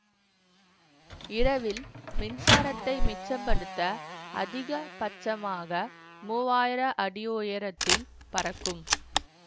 இரவில் மின்சாரத்தை மிச்சப்படுத்த அதிக பட்சமாக மூவாயிர அடி உயரத்தில் பறக்கும்